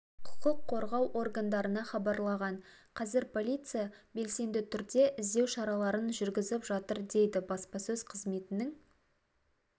құқық қорғау органдарына хабарлаған қазір полиция белсенді түрде іздеу шараларын жүргізіп жатыр дейді баспасөз қызметінің